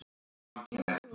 Alltaf þessi fiskur.